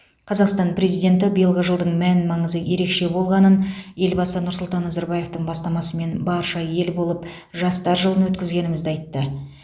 қазақстан президенті биылғы жылдың мән маңызы ерекше болғанын елбасы нұрсұлтан назарбаевтың бастамасымен барша ел болып жастар жылын өткізгенімізді айтты